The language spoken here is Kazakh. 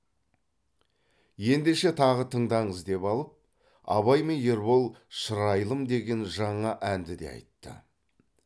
ендеше тағы тыңдаңыз деп алып абай мен ербол шырайлым деген жаңа әнді де айтты